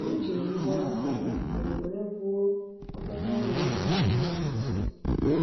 Anyị jiri ngwá ọrụ fọdụrụ afọdụ were wuo obere ụlọ ndosa ìhè nazụ ụlọ.